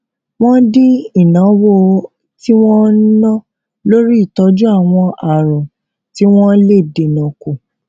wón dín ìnáwó tí wón ná lórí ìtójú àwọn àrùn tí wón lè dènà kù